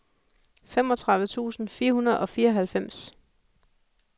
femogtredive tusind fire hundrede og fireoghalvfems